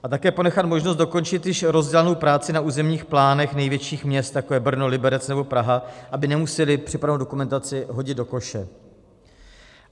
A také ponechat možnost dokončit již rozdělanou práci na územních plánech největších měst, jako je Brno, Liberec nebo Praha, aby nemusela připravenou dokumentaci hodit do koše.